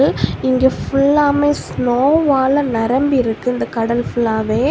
இங்க ஃபுல்லாமே ஸ்நோ வால நிரம்பி இருக்கு இந்த கடல் ஃபுல்லாவே.